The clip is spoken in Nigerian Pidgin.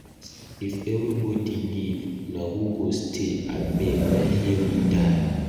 If everybody leave, na who go stay? Abeg na here we die.